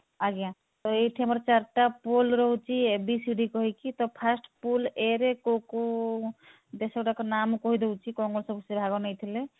ଆଜ୍ଞା ତ ଏଇଠି ଆମର ଚାରିଟା pool ରହୁଛି a b c d କହିକି ତ first pool a ରେ କଉ କଉ ଦେଶ ଗୁଡାକ ନା ମୁଁ କହିଦଉଛି କଣ କଣ ସେ ଭାଗ ନେଇଥିଲେ